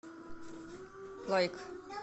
лайк